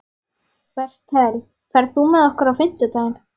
Bertel, ferð þú með okkur á fimmtudaginn?